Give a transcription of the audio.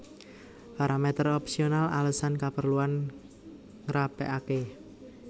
Paramèter opsional alesan kaperluan ngrapèkaké